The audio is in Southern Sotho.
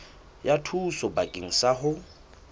ya thuso bakeng sa ho